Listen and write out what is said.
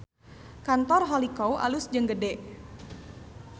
Kantor Holycow alus jeung gede